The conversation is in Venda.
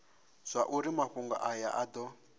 zwauri mafhungo aya a do